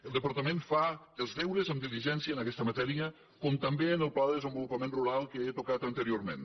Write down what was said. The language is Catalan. el departament fa els deures amb diligència en aguesta matèria com també en el pla de desenvolupament rural que he tocat anteriorment